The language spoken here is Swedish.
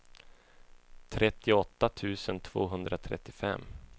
trettioåtta tusen tvåhundratrettiofem